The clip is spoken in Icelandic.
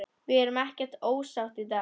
Við erum ekkert ósátt í dag.